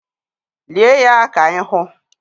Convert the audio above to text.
Lie ya ka anyị hụ!